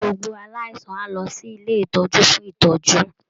Gbogbo aláìsàn á lọ sí ilé ìtọ́jú fún ìtọ́jú